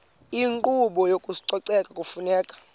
inkqubo yezococeko kufuneka